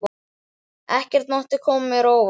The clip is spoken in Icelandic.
Ekkert mátti koma mér á óvart.